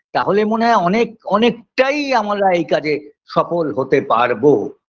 তাহলে মনে হয় অনেক অনেকটাই আমরা এই কাজে সফল হতে পারবো